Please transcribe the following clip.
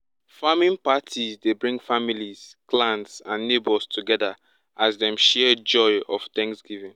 farming parties dey bring families clans and neighbours together as dem share joy of thanksgiving